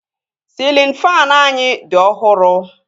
Sịlịn faanụ anyị dị ọhụrụ